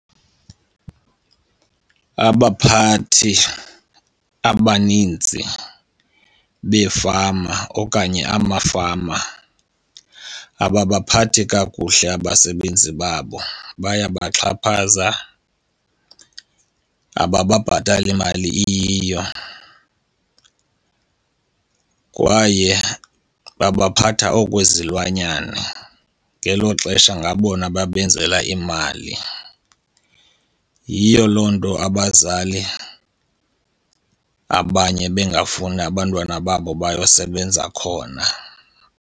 Abaphathi abaninzi beefama okanye amafama ababaphathi kakuhle abasebenzi babo, bayabaxhaphaza, abababhatali imali iyiyo, kwaye babaphatha okwezilwanyana, ngelo xesha ngabona babenzela imali. Yiyo loo nto abazali abanye bengafuni abantwana babo bayosebenza khona.